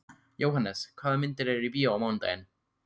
Jóhannes, hvaða myndir eru í bíó á mánudaginn?